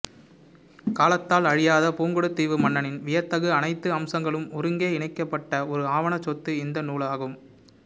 காலத்தால் அழியாத புங்குடுதீவு மண்ணின் வியத்தகு அனைத்து அம்சங்களும் ஒருங்கே இணைக்கபட்ட ஒரு ஆவணச் சொத்து இந்த நூலாகும்